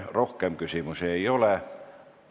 Rohkem küsimusi ei ole.